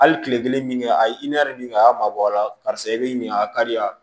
Hali kile kelen min kɛ a ye i ni a y'a mabɔ a la karisa i bɛ ɲina a ka di ya